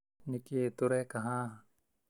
Nĩ kĩĩ tũreka haha?